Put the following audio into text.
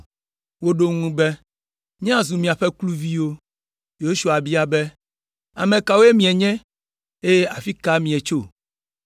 Woɖo eŋu be, “Míazu miaƒe kluviwo.” Yosua bia be, “Ame kawoe mienye eye afi ka mietso?”